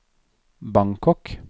Bangkok